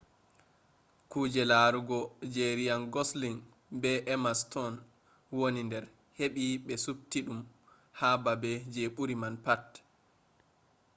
kuje larugo je ryan gosling be emma stone woni der hebi be subti dum ha babe je buri man pat